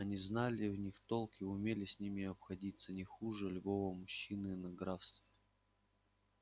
они знали в них толк и умели с ними обходиться не хуже любого мужчины в графстве